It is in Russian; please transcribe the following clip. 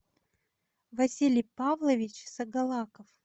василий павлович сагалаков